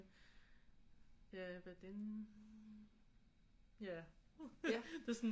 Ja det er sådan